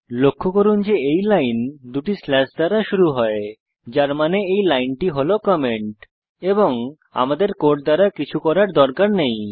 লক্ষ্য করুন যে এই লাইন দুটি স্ল্যাশ দ্বারা শুরু হয় যার মানে এই লাইনটি হল কমেন্ট এবং আমাদের কোড দ্বারা কিছু করার দরকার নেই